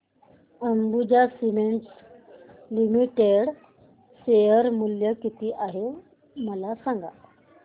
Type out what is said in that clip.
Ambuja cements limited share मूल्य किती आहे मला सांगा